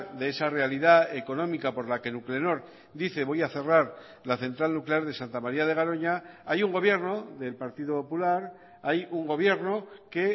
de esa realidad económica por la que nuclenor dice voy a cerrar la central nuclear de santa maría de garoña hay un gobierno del partido popular hay un gobierno que